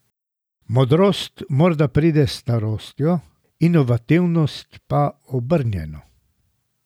Modrost morda pride s starostjo, inovativnost pa obrnjeno.